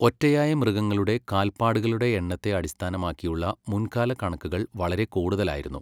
ഒറ്റയായ മൃഗങ്ങളുടെ കാല്പാടുകളുടെ എണ്ണത്തെ അടിസ്ഥാനമാക്കിയുള്ള മുൻകാല കണക്കുകൾ വളരെ കൂടുതലായിരുന്നു.